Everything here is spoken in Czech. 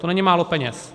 To není málo peněz.